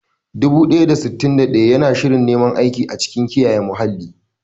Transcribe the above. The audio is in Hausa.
Dubu ɗaya da sittin da ɗaya yana shirin neman aiki a cikin kiyaye muhalli.